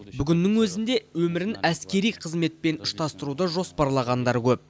бүгіннің өзінде өмірін әскери қызметпен ұштастыруды жоспарлағандар көп